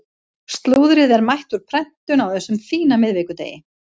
Slúðrið er mætt úr prentun á þessum fína miðvikudegi.